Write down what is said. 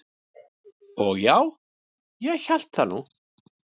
"""Og já, ég hélt það nú."""